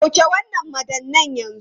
Sauke wannan madannai yanzu!